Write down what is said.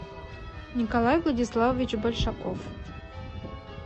николай владиславович большаков